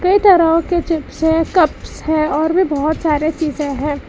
कई तरहों के चिप्स है कप्स है और भी बहुत सारे चीजें है।